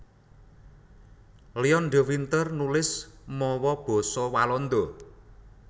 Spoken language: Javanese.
Leon de Winter nulis mawa basa Walanda